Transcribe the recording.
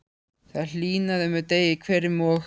Það hlýnaði með degi hverjum og